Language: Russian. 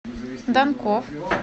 данков